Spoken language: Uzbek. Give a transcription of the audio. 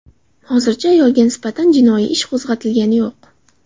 Hozircha ayolga nisbatan jinoiy ish qo‘zg‘atilgani yo‘q.